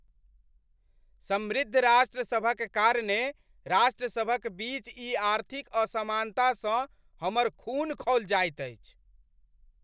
समृद्ध राष्ट्रसभक कारणे राष्ट्रसभक बीच ई आर्थिक असमानतासँ हमर खून खौलि जाइत अछि।